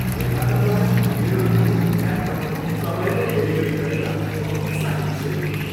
निर्माताद्वारा मेरो नयाँ ल्यापटपको समयमै डेलिभरी गरेर म उत्साहित छु।